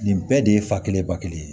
Nin bɛɛ de ye fa kelen ba kelen ye